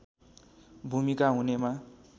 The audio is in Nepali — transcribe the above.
भूमिका हुनेमा